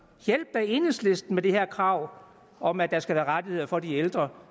hjælpe enhedslisten med det her krav om at der skal være rettigheder for de ældre